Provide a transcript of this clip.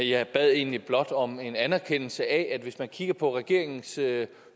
jeg bad egentlig blot om en anerkendelse af at hvis man kigger på regeringens øvrige